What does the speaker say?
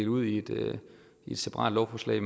ud i et separat lovforslag